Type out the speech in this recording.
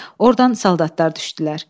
Ordan soldatlar düşdülər.